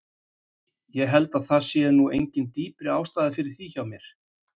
Ég held að það sé nú engin dýpri ástæða fyrir því hjá mér.